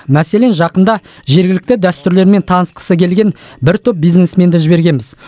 мәселен жақында жергілікті дәстүрлермен танысқысы келген бір топ бизнесменді жібергенбіз